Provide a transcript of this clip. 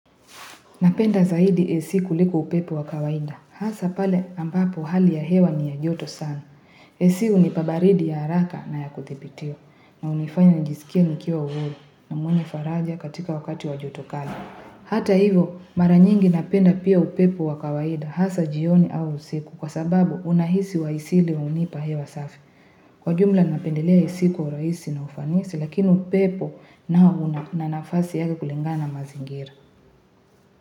Napenda zaidi AC kuliko upepo wa kawaida. Hasa pale ambapo hali ya hewa ni ya joto sana. AC hunipa baridi ya haraka na ya kudhibitiwa. Na hunifanya nijisikie nikiwa warm na mwenye faraja katika wakati wa joto kali. Hata hivo mara nyingi napenda pia upepo wa kawaida. Hasa jioni au usiku kwa sababu unahisi wa isili hunipa hewa safi. Kwa jumla napendelea AC kwa urahisi na ufanisi lakini upepo nao una nafasi yake kulingana na mazingira.